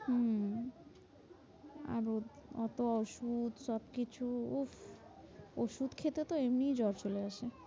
হম আরোও অত ওষুধ সবকিছু উফ ওষুধ খেতে তো এমনি জ্বর চলে আসে।